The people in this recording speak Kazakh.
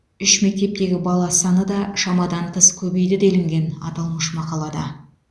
үш мектептегі бала саны да шамадан тыс көбейді делінген аталмыш мақалада